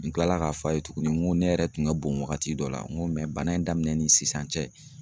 N kilala k'a fɔ a ye tugunni n ko ne yɛrɛ tun ka bon waagati dɔ la n ko bana in daminɛ ni sisan cɛ